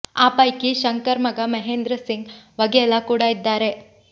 ಆ ಪೈಕಿ ಶಂಕರ್ ಮಗ ಮಹೇಂದ್ರ ಸಿಂಗ್ ವಘೇಲಾ ಕೂಡ ಇದ್ದಾರೆ